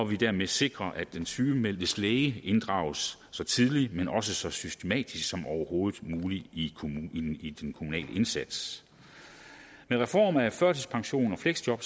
vi dermed sikrer at den sygemeldtes læge inddrages ikke så tidligt men også så systematisk som overhovedet muligt i i den kommunale indsats med reform af førtidspension og fleksjob